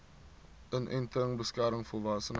inenting beskerm volwassenes